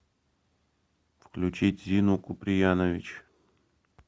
включить зину куприянович